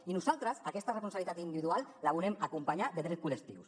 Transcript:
i nosaltres aquesta responsabilitat individual la volem acompanyar de drets col·lectius